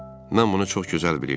Mən bunu çox gözəl bilirdim.